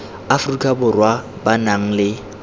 aforika borwa ba nang le